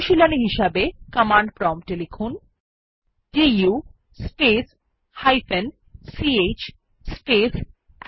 অনুশীলনী হিসাবে কমান্ড প্রম্পটে লিখুন দু স্পেস ch স্পেস txt